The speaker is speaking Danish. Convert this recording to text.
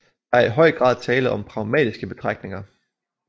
Der er i høj grad tale om pragmatiske betragtninger